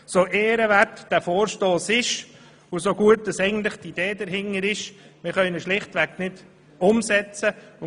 So ehrenwert dieser Vorstoss und so gut die dahintersteckende Idee ist, er ist schlichtweg nicht umsetzbar.